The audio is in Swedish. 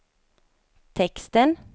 texten